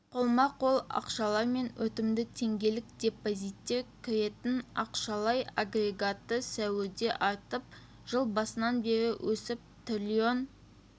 қолма-қол ақшалар мен өтімді теңгелік депозиттер кіретін ақшалай агрегаты сәуірде артып жыл басынан бері өсіп триллион